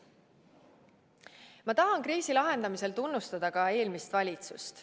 Ma tahan kriisi lahendamisel tegutsemise eest tunnustada ka eelmist valitsust.